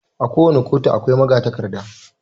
A ko wani ƙotu akwai magatakarda